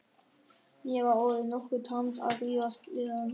Mér var orðið nokkuð tamt að rífast við hann.